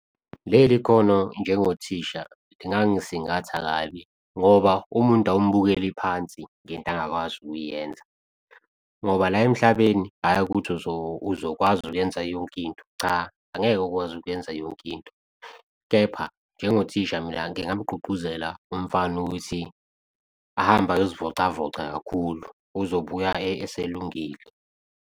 Leli khono njengothisha lingangisingatha kabi ngoba umuntu awumbukeli phansi ngento angakwazi ukuyenza. Ngoba la emhlabeni, hhayi ukuthi uzokwazi ukuyenza yonke into, cha angeke ukwazi ukwenza yonke into. Kepha njengothisha mina ngingamugqugquzela umfana ukuthi ahambe ayozivocavoca kakhulu, uzobuya eselungile.